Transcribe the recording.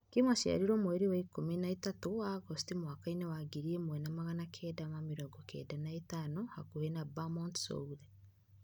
Kim aaciarirwo mweri ikũmi na ĩtatũ wa Agosti mwaka wa ngiri ĩmwe na magana kenda na mĩrongo kenda na ĩtano hakuhĩ na Bemont-sur-Osle.